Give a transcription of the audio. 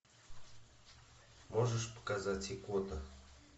можешь показать икота